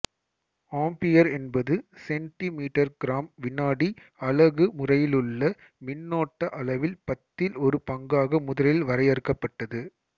ampere என்பது centi மீட்டர்கிராம்விநாடி அலகு முறையிலுள்ள மின்னோட்ட அளவில் பத்தில் ஒரு பங்காக முதலில் வரையறுக்கப்பட்டது